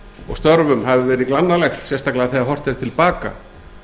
og störfum hafi verið glannalegt sérstaklega þegar horft er til baka